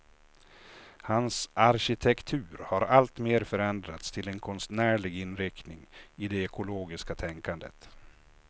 Hans arkitektur har alltmer förändrats till en konstnärlig inriktning i det ekologiska tänkandet.